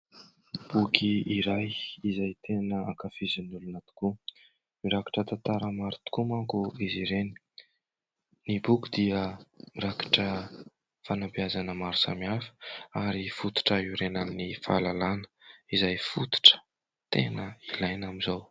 Boky iray izay tena ankafizin'ny olona tokoa. Mirakitra tantara maro tokoa manko izy ireny. Ny boky dia mirakitra fanabeazana maro samihafa ary fototra iorenan'ny fahalalana izay fototra tena ilaina amin'izao.